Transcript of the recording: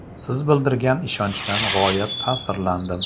Siz bildirgan ishonchdan g‘oyat ta’sirlandim.